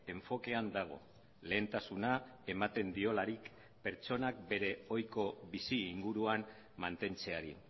enfokean dago lehentasuna ematen diolarik pertsonak bere ohiko bizi inguruan mantentzeari